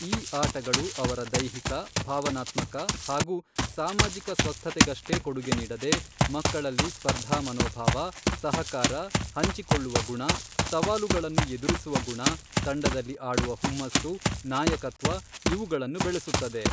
ಈ ಆಟಗಳು ಅವರ ದೈಹಿಕ, ಭಾವನಾತ್ಮಕ ಹಾಗೂ ಸಾಮಾಜಿಕ ಸ್ವಸ್ಥತೆಗಷ್ಟೇ ಕೊಡುಗೆ ನೀಡದೆ ಮಕ್ಕಳಲ್ಲಿ ಸ್ಪರ್ಧಾಮನೋಭಾವ ಸಹಕಾರ ಹಂಚಿಕೊಳ್ಳುವ ಗುಣ ಸವಾಲುಗಳನ್ನು ಎದುರಿಸುವ ಗುಣ ತಂಡದಲ್ಲಿ ಆಡುವ ಹುಮ್ಮಸ್ಸು ನಾಯಕತ್ವ ಇವುಗಳನ್ನು ಬೆಳೆಸುತ್ತದೆ.